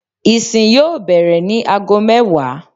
Ìsin yóò bẹ̀rẹ̀ ní ago mẹ́wàá